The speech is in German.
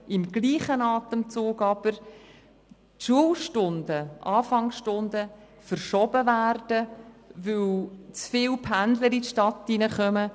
Im gleichen Atemzug werden aber die Anfangsstunden verschoben, weil zu viele Pendler in die Stadt hineinkommen.